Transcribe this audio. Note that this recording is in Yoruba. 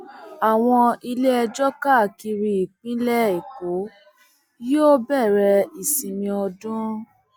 àwọn iléẹjọ káàkiri ìpínlẹ èkó yóò bẹrẹ ìsinmi ọdún